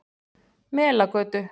Melagötu